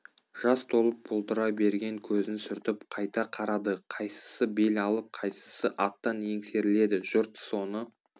жас толып бұлдырай берген көзін сүртіп қайта қарады қайсысы бел алып қайсысы аттан еңсеріледі жұрт соны